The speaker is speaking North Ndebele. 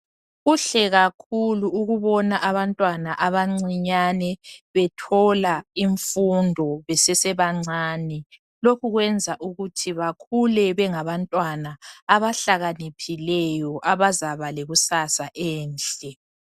Kuhle kakhulu ukubona abantwana abancinyane bethola imfundo besesebancane lokhu kwenza ukuthi bakhule bengabantwana abahlakaniphileyo abazaba lekusasa enhle